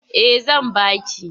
Eh zan ba ki.